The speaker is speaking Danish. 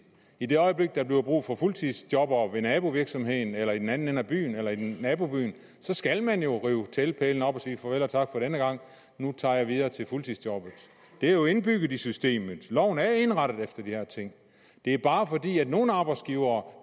i det øjeblik at der bliver brug for fuldtidsjobbere på nabovirksomheden eller i den anden ende af byen eller i nabobyen skal man jo rive teltpælene op og sige farvel og tak for denne gang nu tager man videre til fuldtidsjobbet det er jo indbygget i systemet loven er indrettet efter de her ting det er bare fordi nogle arbejdsgivere